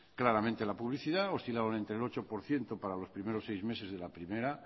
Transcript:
claramente en la publicidad oscilaban entre el ocho por ciento para los primeros seis meses de la primera